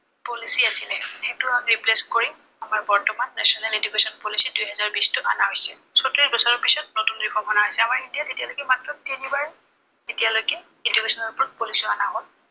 policy আছিলে। সেইটো replace কৰি, আমাৰ বৰ্তমান national education policy দুহেজাৰ বিশটো অনা হৈছে। চৌত্ৰিশ বছৰৰ পিছত নতুন reform অনা হৈছে। আমাৰ ইণ্ডিয়াত এতিয়ালৈকে মাত্ৰ তিনিবাৰ, এতিয়ালৈকে education ৰ ওপৰত policy অনা হল।